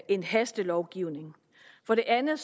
en hastelovgivning for det andet